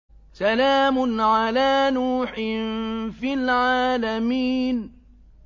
سَلَامٌ عَلَىٰ نُوحٍ فِي الْعَالَمِينَ